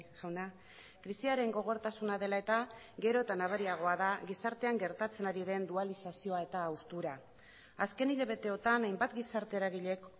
jauna krisiaren gogortasuna dela eta gero eta nabariagoa da gizartean gertatzen ari den dualizazioa eta haustura azken hilabeteotan hainbat gizarte eragileek